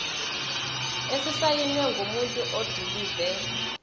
esisayinwe ngumuntu odilive